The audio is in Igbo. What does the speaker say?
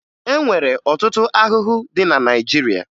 E nwere ọtụtụ ahụhụ dị na Naịjirịa